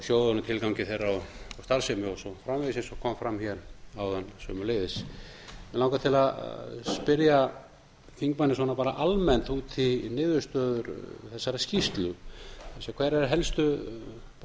sjóðunum tilgangi þeirra og starfsemi og svo framvegis eins og kom fram áðan sömuleiðis mig langar til að spyrja þingmanninn almennt út í niðurstöður þessarar skýrslu hverjir eru helstu lærdómar